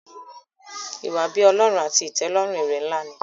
iwa-bi-Ọlọrun àti itẹlọrun èrè nlá ní.